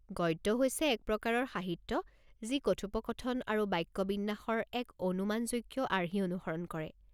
গদ্য হৈছে এক প্ৰকাৰৰ সাহিত্য যি কথোপকথন আৰু বাক্যবিন্যাসৰ এক অনুমানযোগ্য আৰ্হি অনুসৰণ কৰে।